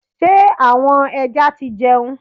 Ṣé àwọn ẹja ti jẹun?